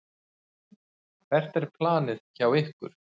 Hvert er planið hjá ykkur?